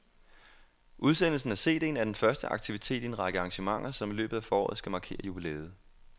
Udsendelsen af CDen er den første aktivitet i en række arrangementer, som i løbet af foråret skal markere jubilæet.